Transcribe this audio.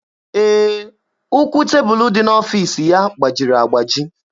Ee, ụkwụ tebụlụ dị n'ọfiisi ya gbajiri agbaji.